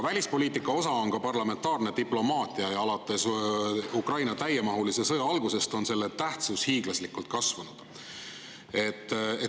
Parlamentaarne diplomaatia on välispoliitika osa ja alates Ukraina täiemahulise sõja algusest on selle tähtsus hiiglaslikult kasvanud.